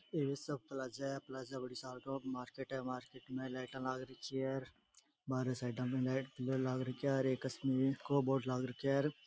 ये सब पलाजा है पलाजा मार्किट है मार्किट में लाइटाँ लाग रखी है और बाहरे साइडा में लाइट बोर्ड लाग रखयो है।